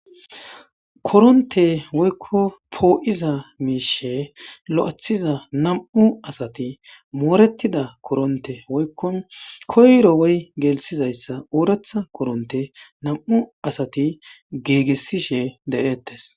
koronte woykko poo7iza miishe lo7athiza nam7u asati mooretida koronte woykko koyro woy gelsizayssa ooratha koronte nam7u asati geegessishe de7eettes